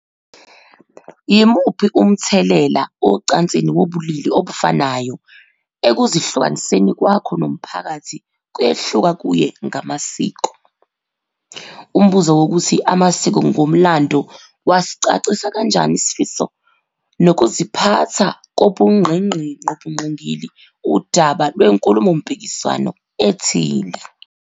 Yimuphi umthelela ocansini wobulili obufanayo ekuzihlukaniseni kwakho nomphakathi kuyehluka kuye ngamasiko. Umbuzo wokuthi amasiko ngomlando wasicacisa kanjani isifiso nokuziphatha kobungqingili udaba lwenkulumompikiswano ethile.